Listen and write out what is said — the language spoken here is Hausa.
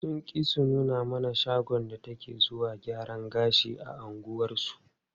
Sun ƙi su nuna mana shagon da take zuwa gyaran gashi a unguwarsu.